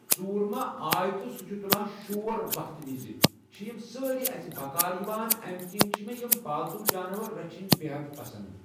ژوٗر ما آے تہٕ سُہ چھِ تُلان شور وقتہٕ وِز چھِ یِم سٲری اَسہِ بکار یِوان امہِ کِنۍ چھِ مےٚ یِم پالتو جاناوار رَچھِنۍ بےحد پَسنٛد۔